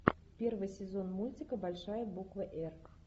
первый сезон мультика большая буква р